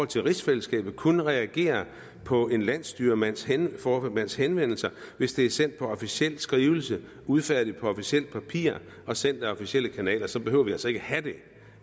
til rigsfællesskabet kun reagerer på en landsstyreformands henvendelser hvis henvendelser hvis de er sendt som officielle skrivelser udfærdiget på officielt papir og sendt ad officielle kanaler så behøver vi altså ikke at have det